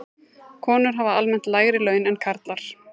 Konur hafa almennt lægri laun en karlar.